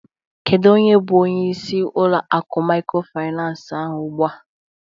Kedu onye bụ onyeisi ulo akụ maykrofinans ahụ ugbua?